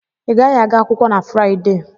I gaghị aga akwụkwọ na Fraịdee!